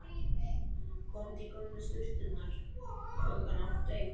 Komdu í gömlu sturturnar klukkan átta í kvöld.